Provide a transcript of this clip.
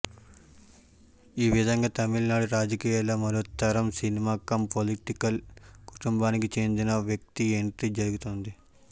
ఈ విధంగా తమిళనాడు రాజకీయాల్లో మరో తరం సినిమా కమ్ పొలిటికల్ కుటుంబానికి చెందిన వ్యక్తి ఎంట్రీ జరుగుతోంది